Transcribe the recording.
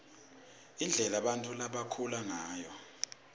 indlela bantfu labakhula ngayo